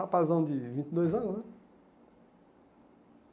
Rapazão de vinte e dois anos, né?